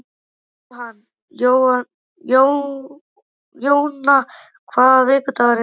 Jóanna, hvaða vikudagur er í dag?